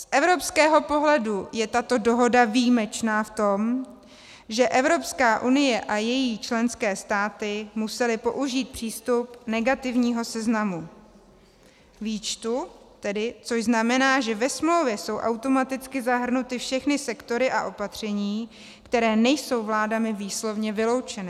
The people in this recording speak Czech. Z evropského pohledu je tato dohoda výjimečná v tom, že Evropská unie a její členské státy musely použít přístup negativního seznamu, výčtu, což tedy znamená, že ve smlouvě jsou automaticky zahrnuty všechny sektory a opatření, které nejsou vládami výslovně vyloučeny.